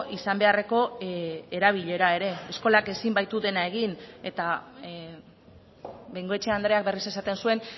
izan beharreko erabilera ere eskolak ezin baitu dena egin eta bengoechea andreak berriz esaten zuen